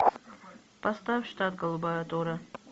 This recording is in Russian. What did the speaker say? поставь штат голубая гора